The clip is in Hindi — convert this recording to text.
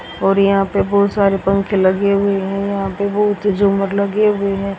और यहां पे बहोत सारे पंखे लगे हुए हैं यहां पे बहोत झूमर लगे हुए हैं।